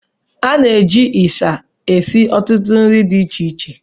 Ana-eji ịsha esi ọtụtụ nri di iche iche